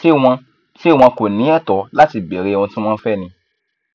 ṣé wọn ṣé wọn kò ní ẹtọ láti béèrè ohun tí wọn fẹ ni